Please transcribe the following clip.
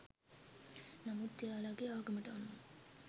නමුත් එයාලගේ ආගමට අනුව